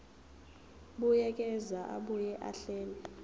buyekeza abuye ahlele